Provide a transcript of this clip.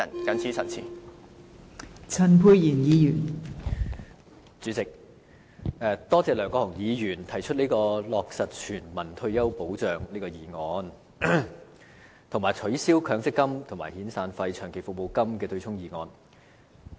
代理主席，我感謝梁國雄議員提出議案，要求落實全民退休保障，以及取消強制性公積金計劃僱主供款對沖遣散費及長期服務金的機制。